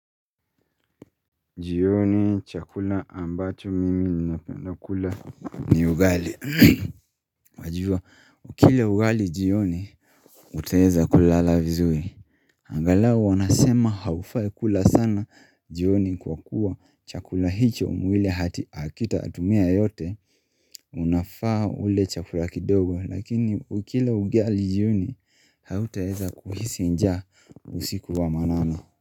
Jioni chakula ambacho mimi ninapenda kula ni ugali Wajua ukila ugali jioni utaeza kulala vizuri Angalau wanasema haufai kula sana jioni kwa kuwa chakula hicho mwili ati hakitatumia yote Unafaa ule chakula kidogo lakini ukila ugali jioni hautaeza kuhisi njaa usiku wa manane.